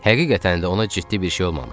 Həqiqətən də ona ciddi bir şey olmamışdı.